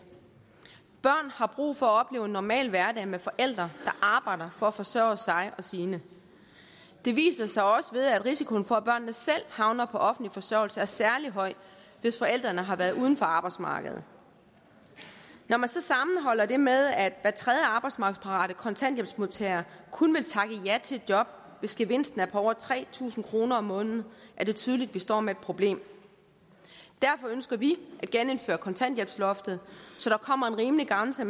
børn har brug for at opleve en normal hverdag med forældre der arbejder for at forsørge sig og sine det viser sig også ved at risikoen for at børnene selv havner på offentlig forsørgelse er særlig høj hvis forældrene har været uden for arbejdsmarkedet når man så sammenholder det med at hver tredje arbejdsmarkedsparate kontanthjælpsmodtager kun vil takke ja til et job hvis gevinsten er på over tre tusind kroner om måneden er det tydeligt at vi står med et problem derfor ønsker vi at genindføre kontanthjælpsloftet så der kommer en rimelig grænse